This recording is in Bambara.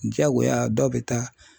Jagoya dɔw bɛ taa